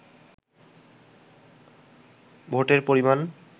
ভোটের পরিমান